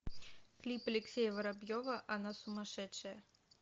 клип алексея воробьева она сумасшедшая